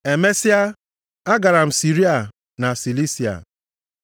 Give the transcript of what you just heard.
Emesịa, agara m Siria na Silisia.